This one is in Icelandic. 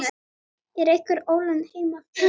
Er einhver ólund heima fyrir?